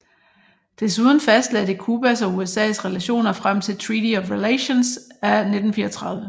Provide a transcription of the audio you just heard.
Desuden fastlagde det Cubas og USAs relationer frem til Treaty of Relations af 1934